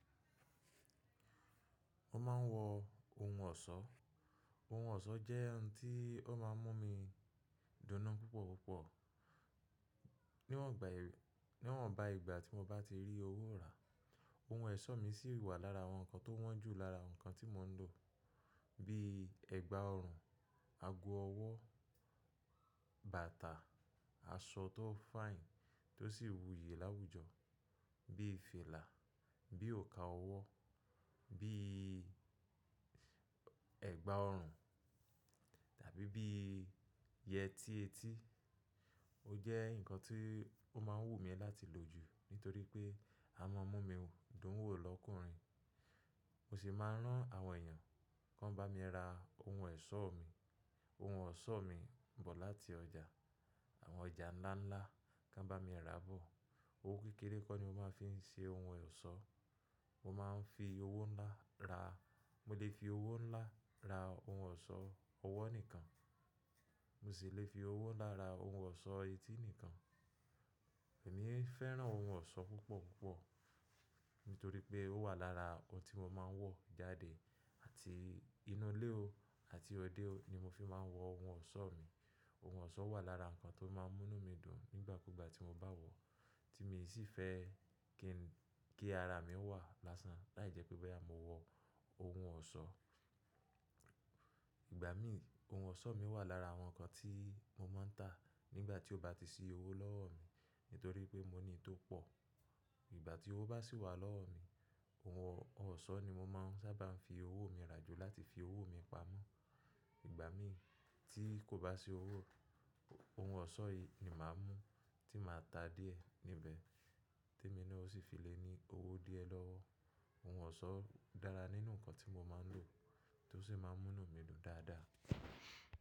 Mo máa ń wọ ohun ọ̀ṣọ́. Ohun ọ̀ṣọ́ jẹ́ ohun tí ó máa ń mú mi dùn ún púpọ̀ púpọ̀. Níwọ́n gbà èrè, níwọ̀n bá ìgbà tí mo bá ti rí owó rà, ohun ọ̀ṣọ́ mi sì wà lára àwọn nǹkan tó wọ́n jù lára nǹkan tí mo ń lò. Bí i ẹ̀gbà ọrùn, ago ọwọ́, bàtà, aṣọ tó fine tó sì wúye láwùjọ, bí i fìlà, bí i òǹkà ọwọ́, bí i ẹ̀gbà ọrùn tàbí bí i yẹtí etí. Ó jẹ́ nǹkan tí ó máa ń wù mí láti lò jù nítorí pé a máa ń mú mi dùn wò lọ́kùnrin. Mo sì máa ń rán àwọn èèyàn kí wọ́n bá mi ra ohun ọ̀ṣọ́ mi. Ohun ọ̀ṣọ́ mi ń bọ̀ láti ọjà, àwọn ọjà ńlá ńlá kí wọ́n bá mi ra bọ̀. Owó kékeré kọ́ ni mo máa fi ṣe ohun ọ̀ṣọ́. Mo máa ń fi owó ńlá ra— mo lè fi owó ńlá ra ohun ọ̀ṣọ́ ọwọ́ nìkan. Mo sì lè fi owó ńlá ra ohun ọ̀ṣọ́ etí nìkan. Èmi fẹ́ràn ohun ọ̀ṣọ́ púpọ̀ púpọ̀ nítorí pé ó wà lára ohun tí mo máa ń wọ̀ jáde àti inú ilé o àti òde o ni mo fi máa ń wọ ohun ọ̀ṣọ́ mi. Ohun ọ̀ṣọ́ wà lára nǹkan tó máa ń mú mí dùn nígbà kúgbà tí mo bá wọ̀, tí mi sì fẹ́ kí ara mi wà lásán láì jẹ́ pé báyìí mo wọ ohun ọ̀ṣọ́. Ìgbà mí, ohun ọ̀ṣọ́ mi wà lára àwọn nǹkan tí mo máa ń tà nígbà tí ó bá ti sí owó lọ́wọ́ mi nítorí pé mo ní tó pọ̀. Ìgbà tí owó bá sì wà lọ́wọ́ mi, ohun ọ̀ṣọ́ ni mo máa ń sábà fi owó mi rà jù láti fi owó mi pamọ́. Ìgbà mi tí kò bá sí owó, ohun ọ̀ṣọ́ yìí ni màá mú tí màá tà díẹ̀ níbẹ̀ tí emí náa ó sì fi lè ní owó díẹ̀ lọ́wọ́. Ohun ọ̀ṣọ́ dára nínú nǹkan tí mo máa ń lò tó sì máa ń mú mí dùn dáadáa.